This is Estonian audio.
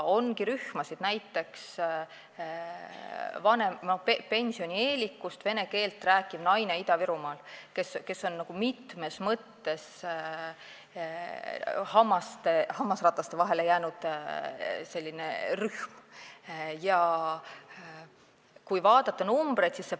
On rühmasid, näiteks pensionieelikutest vene keelt rääkivad naised Ida-Virumaal, kes on mitmes mõttes hammasrataste vahele jäänud.